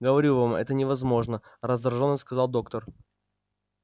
говорю вам это невозможно раздражённо сказал доктор